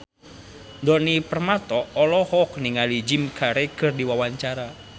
Djoni Permato olohok ningali Jim Carey keur diwawancara